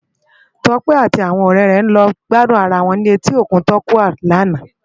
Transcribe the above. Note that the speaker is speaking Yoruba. Tope àti áwòn òrè è lò gbàdún àrá wòn ni Ètí Ókún Tàkúwá Bé làná